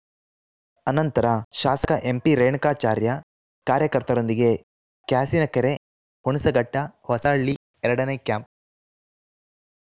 ಅನಂತರ ಶಾಸಕ ಎಂಪಿ ರೇಣುಕಾಚಾರ್ಯ ಕಾರ್ಯಕರ್ತರೊಂದಿಗೆ ಕ್ಯಾಸಿನಕೆರೆ ಹುಣಸಘಟ್ಟ ಹೊಸಹಳ್ಳಿ ಎರಡನೇ ಕ್ಯಾಂಪ್‌